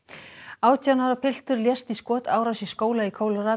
átján ára piltur lést í skotárás í skóla í